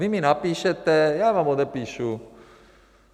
Vy mi napíšete, já vám odepíšu.